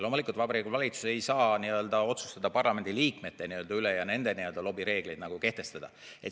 Loomulikult, Vabariigi Valitsus ei saa otsustada parlamendi liikmete üle ja nende lobireegleid kehtestada.